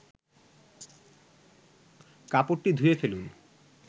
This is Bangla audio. কাপড়টি ধুয়ে ফেলুন